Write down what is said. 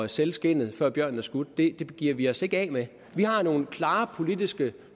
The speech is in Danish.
sælge skindet før bjørnen er skudt giver vi os ikke af med vi har nogle klare politiske